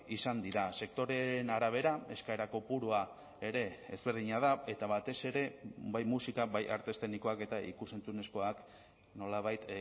izan dira sektoreen arabera eskaera kopurua ere ezberdina da eta batez ere bai musika bai arte eszenikoak eta ikus entzunezkoak nolabait